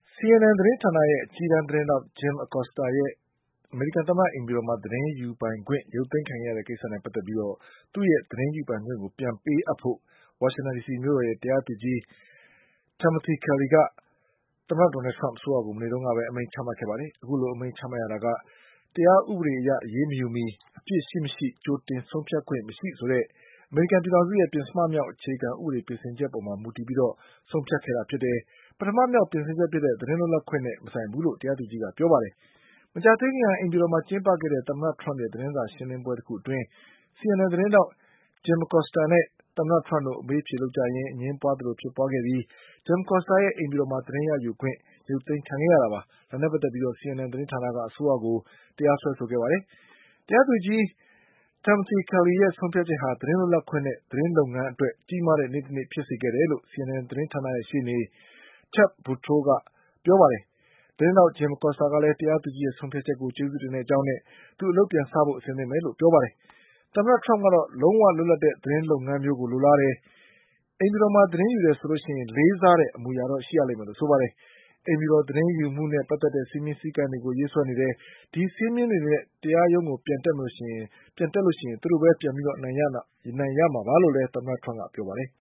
CNNသတင်းဌာနရဲ့ အကြီးတန်းသတင်းထောက် Jim Acostaရဲ့ အမေရိကန်သမ္မတအိမ်ဖြူတော်မှာသတင်းယူခွင့်ရုပ် သိမ်းခံထားရတဲ့ ကိစ္စနဲ့ပတ်သက်ပြီး သူ့ရဲ့ သတင်းယူပိုင်ခွင့်ကိုပြန်ပေးအပ်ဖို့ ဝါရှင်တန်ဒီစီမြို့တော်ရဲ့ တရားသူကြီး Timothy Kelly က သမ္မတဒေါ်နလ်ထရမ့်အစိုးရကို မနေ့ကပဲ အမိန့်ချမှတ်ခဲ့ပါတယ်။ အခုလိုအမိန့်ချမှတ်ရတာက တရားဥပဒေအရအရေးမယူမီ အပြစ်ရှိမရှိ ကြိုတင်ဆုံးဖြတ်ခွင့်မရှိဆိုတဲ့ အမေရိကန်ပြည်ထောင်စုရဲ့ ပဉ္စမမြောက်အခြေခံ ဥပဒေပြင်ဆင်ချက်အပေါ် မှာမူတည်ပြီးဆုံးဖြတ်ခဲ့တာဖြစ်တယ်။ ပထမမြောက်ပြင်ဆင်ချက်ဖြစ်တဲ့ သတင်းလွတ်လပ်ခွင့်နဲ့ မဆိုင်ဘူးလို့ တရား သူကြီးကပြောပါတယ်။ မကြာသေးခင်က အိမ်ဖြူတော်မှာကျင်းပခဲ့တဲ့ သမ္မတထရမ့်ရဲ့သတင်းစာရှင်း လင်းပွဲတခုအတွင်း CNN သတင်းထာက် Jim Acosta နဲ့ သမ္မတထရမ့်တို့အမေးအဖြေလုပ်ရင်း အငြင်းပွါးသလိုဖြစ်ပွါးခဲ့ပြီး Jim Acosta ရဲ့အိမ်ဖြူတော်မှာသတင်းရယူခွင့်ရုပ်သိမ်းခံခဲ့ရတာပါ။ ဒါနဲ့ပတ်သက်ပြီး CNN သတင်းဌာနက အစိုးရကို တရားစွဲဆိုခဲ့တာပါ။ တရားသူကြီး Timothy Kellyရဲ့ဆုံးဖြတ်ချက်ဟာ သတင်းလွတ်လပ်ခွင့်နဲ့ သတင်းလုပ်ငန်းအတွက် ကြီးမားတဲ့နေ့တနေ့ဖြစ်စေခဲ့တယ်လို့ CNNသတင်းဌာနရဲ့ရှေ့နေ Ted Boutrousကပြောပါတယ်။ သတင်းထာက် Jim Acostaကလည်း တရားသူကြီးရဲ့ဆုံးဖြတ်ချက်ကိုကျေးဇူးတင်ကြောင်းနဲ့ အလုပ်ပြန်စဖို့အသင့်ပဲလို့ပြောပါတယ်။ သမ္မတ ထရမ့်ကတော့ လုံးဝလွတ်လပ်တဲ့သတင်းလုပ်ငန်းမျိုးကိုလိုလားတယ်၊အိမ်ဖြူတော်မှာသတင်းယူတယ်ဆိုရင်လေးစားတဲ့ အမူအရာတော့ရှိရလိမ့်မယ်လို့ဆိုပါတယ်။ အိမ်ဖြူတော်သတင်းယူမှုနဲ့ ပတ်သက်တဲ့ စည်းမျဉ်းစည်းကမ်းတွေကို ရေးစွဲ နေတယ်၊ ဒီစည်းမျဉ်းတွေနဲ့တရားရုံးကိုပြန်တက်ရက် သူတို့ပဲပြန်ပြီးအနိုင်ရမှာပါလို့လည်း သမ္မတထရမ့်ကပြောပါတယ်။